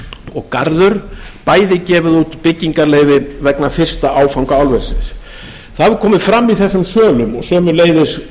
og garður bæði gefið út byggingarleyfi vegna fyrsta áfanga álversins það hefur komið fram í þessum sölum og sömuleiðis